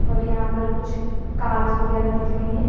और यहां पर कुछ कार्स वगैरह दिख रही हैं।